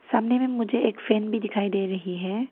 सामने में मुझे एक फैन भी दिखाई दे रही है।